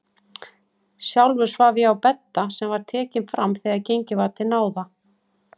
Sjálfur svaf ég á bedda sem var tekinn fram þegar gengið var til náða.